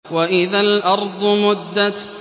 وَإِذَا الْأَرْضُ مُدَّتْ